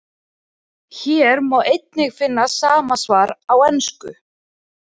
Hér má einnig finna sama svar á ensku.